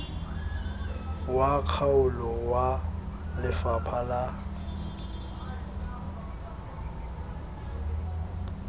wa kgaolo wa lefapha la